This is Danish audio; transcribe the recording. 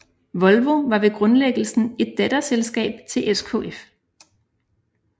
Volvo var ved grundlæggelsen et datterselskab til SKF